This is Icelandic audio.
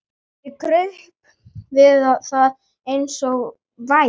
Ég kraup við það eins og væm